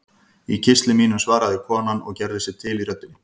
Í kistli mínum, svaraði konan og gerði sig til í röddinni.